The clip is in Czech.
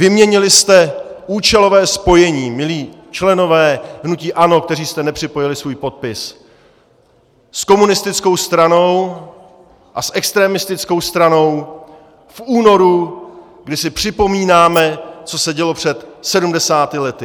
Vyměnili jste účelové spojení, milí členové hnutí ANO, kteří jste nepřipojili svůj podpis, s komunistickou stranou a s extremistickou stranou v únoru, kdy si připomínáme, co se dělo před sedmdesáti lety.